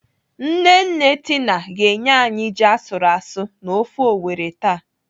Nne nne Tina ga-enye anyị ji asụrụ asụ na ofe Owerri taa..